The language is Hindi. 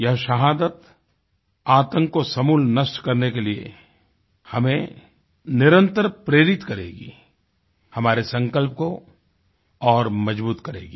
यह शहादत आतंक को समूल नष्ट करने के लिए हमें निरन्तर प्रेरित करेगीहमारे संकल्प को और मजबूत करेगी